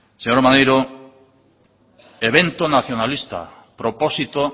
señor maneiro evento nacionalista propósito